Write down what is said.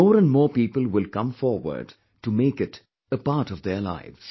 More and more people will come forward to make it a part of their lives